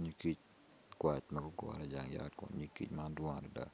Nyig kic ma gugure i jang yat kun nyig kic man gidwong adada